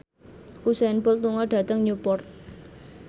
Usain Bolt lunga dhateng Newport